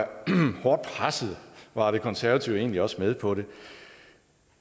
hårdt presset var konservative egentlig også med på det